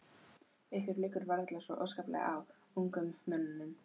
Ykkur liggur varla svo óskaplega á, ungum mönnunum.